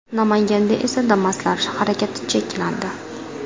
Namanganda esa Damas’lar harakati cheklandi.